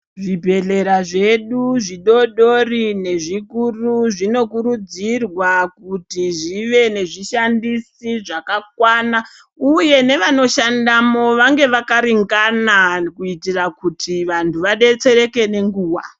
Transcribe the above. Zvibhedhlera zvedu zvidodori nezvikuru zvinokurudzirwa kuti zvive nezvishandisi zvakakwana uye nevanoshandamo vange vakaringana kuitira kuti vantu vabetsereke nenguva.